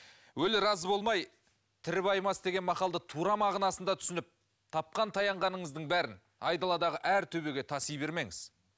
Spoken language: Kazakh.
өлі разы болмай тірі байымас деген мақалды тура мағынасында түсініп тапқан таянғаныңыздың бәрін айдаладағы әр төбеге таси бермеңіз